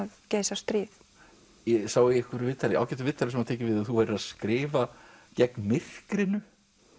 geisar stríð ég sá í ágætu viðtali sem var tekið við þig að þú værir að skrifa gegn myrkrinu